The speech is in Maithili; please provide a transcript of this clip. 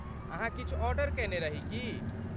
अहाँ किछु ऑर्डर केने रही की?